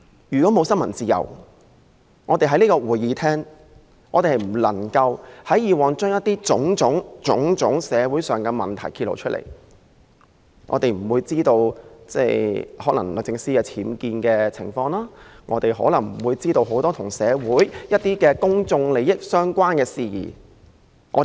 如果沒有新聞自由，我們過去便無法在這個會議廳揭露種種社會問題，不會知道律政司司長的寓所有僭建情況，不會知道社會上很多與公眾利益相關的事宜。